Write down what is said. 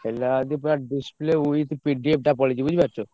ହେଲା ଯଦି display with PDF ଟା ପଲେଇଛି ବୁଝିପାରୁଛ।